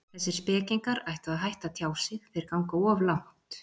Þessir spekingar ættu að hætta að tjá sig, þeir ganga of langt.